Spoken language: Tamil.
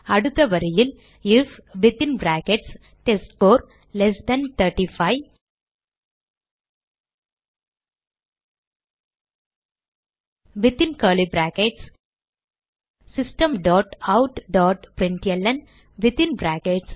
அடுத்த வரியில் if within brackets test score less than 35 within curly brackets system dot out dot println within brackets